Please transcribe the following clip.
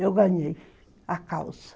Eu ganhei a causa.